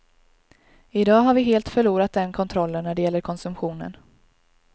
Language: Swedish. I dag har vi helt förlorat den kontrollen när det gäller konsumtionen.